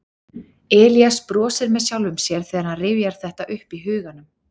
Elías brosir með sjálfum sér þegar hann rifjar þetta upp í huganum.